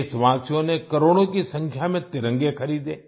देशवासियों ने करोड़ों की संख्या में तिरंगे खरीदे